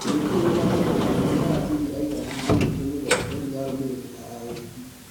Gũtirĩ wĩna ũmaa wa-kana nĩ-Ayazidi aigana manyitirwo mĩgwate nĩ-arũmĩrĩri a IB.